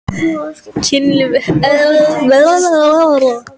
Kynlíf, heilbrigði, ást og erótík.